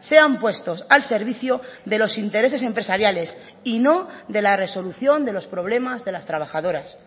sean puestos al servicio de los intereses empresariales y no de la resolución de los problemas de las trabajadoras